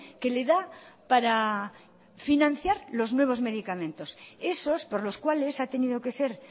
que le da para financiar los nuevos medicamentos esos por los cuales ha tenido que ser